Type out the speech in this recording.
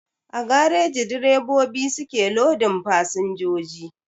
A gareji direbobi su ke lodin fasinjoji